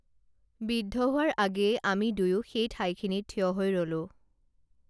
বিদ্ধ হোৱাৰ আগেয়ে আমি দুয়ো সেই ঠাইখিনিত থিয় হৈ ৰলোঁ